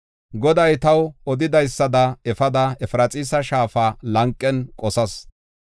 Goday taw odidaysada efada, Efraxiisa shaafa lanqen qosas.